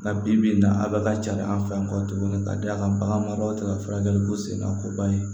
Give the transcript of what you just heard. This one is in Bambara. Nka bi bi in na a bɛ ka ca an fɛ yan kɔ tuguni ka da kan bagan mara tɛ ka furakɛli ko sen kan ko ban ye